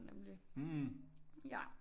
Nemlig ja